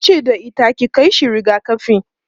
tace da ita"ki Kai shi rigakafi!'